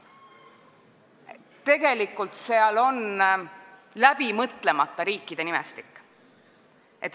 Seal on tegelikult läbimõtlemata riikide nimestik.